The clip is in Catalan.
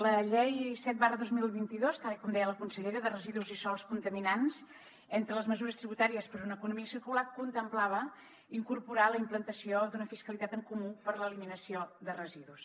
la llei set dos mil vint dos tal com deia la consellera de residus i sòls contaminats entre les mesures tributàries per a una economia circular contemplava incorporar la implantació d’una fiscalitat en comú per a l’eliminació de residus